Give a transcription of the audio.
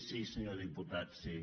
sí senyor diputat sí